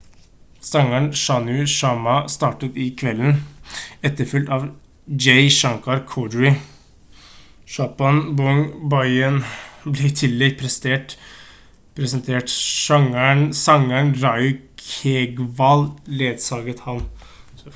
sangeren sanju sharma startet kvelden etterfulgt av jai shankar choudhary chhappan bhog bhajan ble i tillegg presentert sangeren raju kvegwal ledsaget ham